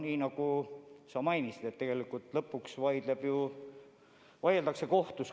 Nii nagu sa mainisid, tegelikult lõpuks vaieldakse kohtus.